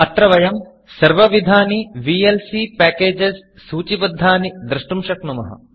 अत्र वयं सर्वविधानि वीएलसी packagesविएल्सी पेकेजस् सूचिबद्धानि द्रष्टुं शक्नुमः